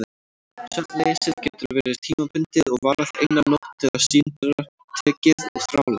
Svefnleysið getur verið tímabundið og varað eina nótt eða síendurtekið og þrálátt.